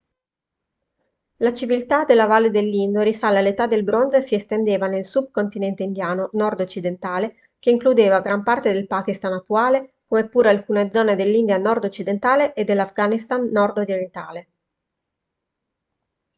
la civiltà della valle dell'indo risale all'età del bronzo e si estendeva nel sub-continente indiano nordoccidentale che includeva gran parte del pakistan attuale come pure alcune zone dell'india nordoccidentale e dell'afghanistan nordorientale